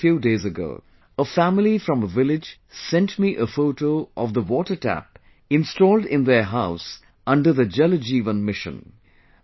Just a few days ago, a family from a village sent me a photo of the water tap installed in their house under the 'Jal Jeevan Mission'